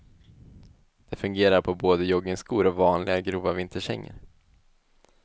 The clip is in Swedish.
Det fungerar på både joggingskor och vanliga grova vinterkängor.